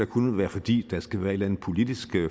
kun være fordi der skal være et eller andet politisk